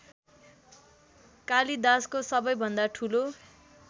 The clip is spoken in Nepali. कालिदासको सबैभन्दा ठूलो